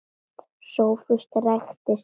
Sófus ræskti sig.